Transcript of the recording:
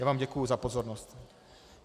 Já vám děkuji za pozornost.